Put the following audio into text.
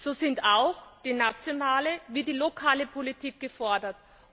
So sind auch die nationale wie die lokale Politik gefordert.